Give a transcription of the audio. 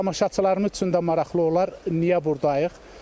Tamaşaçılarımız üçün də maraqlı olar, niyə burdayıq?